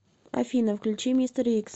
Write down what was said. афина включи мистер икс